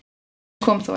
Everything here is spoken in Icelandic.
Til þess kom þó ekki